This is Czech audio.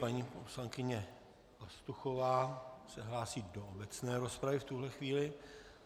Paní poslankyně Pastuchová se hlásí do obecné rozpravy v tuhle chvíli.